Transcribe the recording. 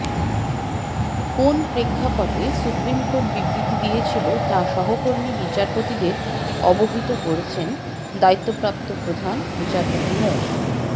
কোন প্রেক্ষাপটে সুপ্রিমকোর্ট বিবৃতি দিয়েছিল তা সহকর্মী বিচারপতিদের অবহিত করেছেন দায়িত্বপ্রাপ্ত প্রধান বিচারপতি মো